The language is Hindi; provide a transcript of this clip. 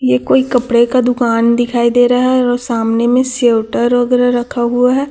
ये कोई कपड़े का दुकान दिखाई दे रहा है और सामने में स्वेटर वगैरा रखा हुआ है।